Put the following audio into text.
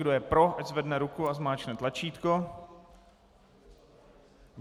Kdo je pro, ať zvedne ruku a zmáčkne tlačítko.